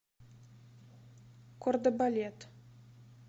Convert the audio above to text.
кордебалет